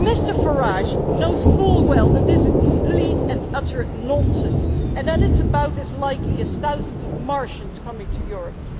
But Mr Farage knows full well that this is complete and utter nonsense and that it is about as likely as thousands of Martians coming to Europe.